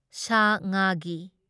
ꯁꯥ ꯉꯥꯒꯤ